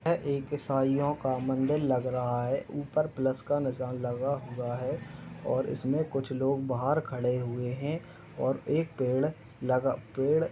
यह एक ईसाईयों का मंदिर लग रहा है। ऊपर प्लस का निशान लगा हुआ है और इसमें कुछ लोग बाहर खड़े हुए हैं और एक पेड़ लगा पेड़ --